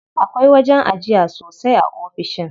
Akwai wajen ajiya sosai a ofishin.